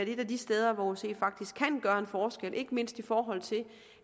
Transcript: et af de steder hvor osce faktisk kan gøre en forskel ikke mindst i forhold til